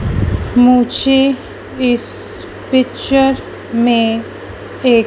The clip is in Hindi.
मुझे इस पिक्चर में एक--